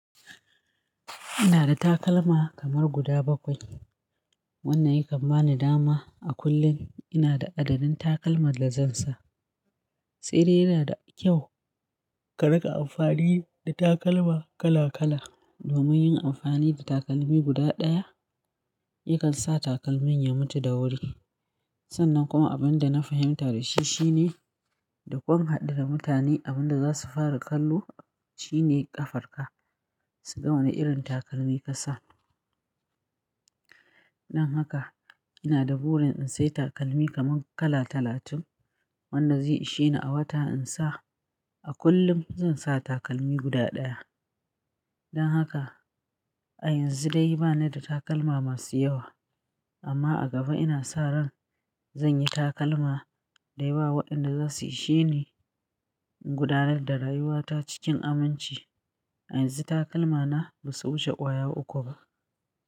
Ina da takalma kamar guda bakwai. Wannan yakan bani dama a kullum ina da adadin takalman da zan sa. Saide yana da kyau ka rinka amfani da takalma kala kala domin yin amfani da takalmi guda ɗaya yakan sa takalmin ya mutu da wuri. Sannan kuma abin da na fahimta da shi shine da ƙun hadura mutane abin da za su fara kallo shine ƙafarka, su ga wane irin takalmi ka sa. Dan haka ina da burin in sayi takalmi kaman kala talatin wanda zai isheni a wata in sa. A kullum zan sa takalmi guda ɗaya. Dan haka a yanzu dai bana da takalma masu yawa amma a gaba ina sa ran zan yi takalma da yawa waɗanda za su isheni in gudanar da rayuwata cikin aminci. A yanzu takalma na ba su wuce ƙwaya uku ba.